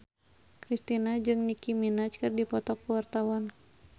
Kristina jeung Nicky Minaj keur dipoto ku wartawan